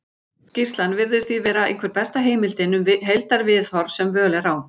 Skýrslan virðist því vera einhver besta heimildin um heildarviðhorf sem völ er á.